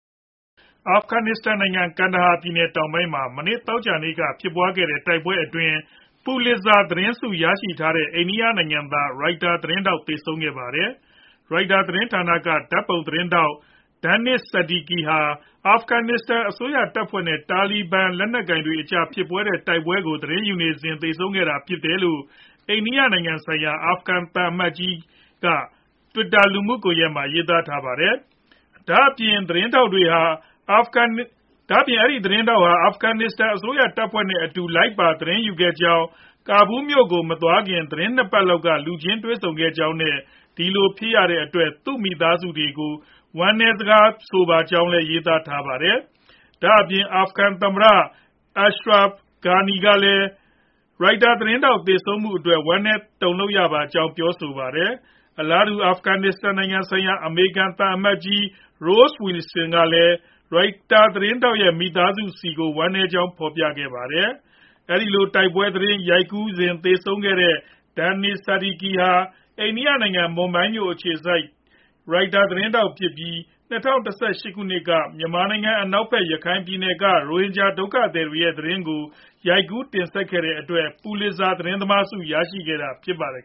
အာဖဂန်နစ္စတန်နိုင်ငံ ကန်ဒါဟာပြည်နယ် တောင်ပိုင်းမှာ မနေ့ သောကြာနေ့က ဖြစ်ပွားခဲ့တဲ့ တိုက်ပွဲအတွင်း Pulitzer ပူလစ်ဇာ သတင်းဆု ရရှိထားတဲ့ အိန္ဒိယနိုင်ငံသား ရိုက်တာသတင်းထောက် သေဆုံးခဲ့ပါတယ်။ ရိုက်တာသတင်းဌာနက ဓါတ်ပုံသတင်းထောက် Danish Seddiqi ဟာ အာဖဂန်အစိုးရတပ်ဖွဲ့နဲ့ တာလီဘန်လက်နက်ကိုင်တွေအကြားဖြစ်ပွားနေတဲ့ တိုက်ပွဲကို သတင်းယူခဲ့စဉ်မှာ သေဆုံးခဲ့တာဖြစ်တယ်လို့ အိန္ဒိယနိုင်ငံဆိုင်ရာ အာဖဂန်သံအမတ်ကြီး Mamundzay. က Twitterလူမှုကွန်ရက်မှာ ရေးထားပါတယ်။ ဒါအပြင် အဲဒီသတင်းထောက်ဟာ အာဖဂန်အစိုးရတပ်ဖွဲ့တွေနဲ့ အတူလိုက်ပါ သတင်းယူခဲ့ကြောင်း ၊ ကာဘူးလ်မြို့ကို မသွားရောက်ခင် သီတင်းနှစ်ပတ်လောက်က လူချင်းတွေ့ဆုံခဲ့သေးကြောင်း နဲ့ ဒီလိုဖြစ်ရတဲ့အတွက် သူမိသားစုဆီကို ဝမ်းနည်းစကားဆိုပါကြောင်းလည်း ရေးသားထားပါတယ်။ ဒါအပြင် အာဖဂန်သမ္မတAshraf Ghani ကလည်း ရိုက်တာသတင်းထောက်သေဆုံးခဲ့တဲ့အတွက် ဝမ်းနည်းတုံလှုပ်ရပါကြောင်း ပြောဆိုပါတယ်။ အလားတူ အာဖဂန်နစ္စတန်နိုင်ငံဆိုင်ရာ အမေရိကန်သံအမတ်ကြီးRoss Wilson ကလည်း ရိုက်တာသတင်းထောက်ရဲ့ မိသားစုဆီကို ဝမ်းနည်းကြောင်း ဖော်ပြခဲ့ပါတယ်။ အဲဒီလို တိုက်ပွဲသတင်း ရိုက်ကူးစဉ်သေဆုံးခဲ့တဲ့ Danish Seddiqi ဟာ အိန္ဒိယနိုင်ငံ မွန်ဘိုင်းမြို့ အခြေစိုက် ရိုက်တာသတင်းထောက်ဖြစ်ပြီး ၂၀၁၈ ခုနှစ်က မြန်မာနိုင်ငံ အနောက်ဖက် ရခိုင်ပြည်နယ်က ရိုဟင်ဂျာဒုက္ခသည်တွေရဲ့ သတင်းကို ရိုက်ကူးတင်ဆက်ခဲ့တဲ့အတွက်Pulitzer သတင်းသမားဆု့ကို ရရှိခဲ့တာဖြစ်ပါတယ်